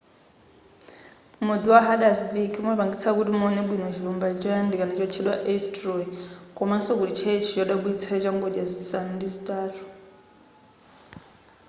mudzi wa haldarsvík umapangitsa kuti muwone bwino chilumba choyandikana chotchedwa eysturoy komanso kuli tchalitchi chodabwitsa changodya zisanu ndi zitatu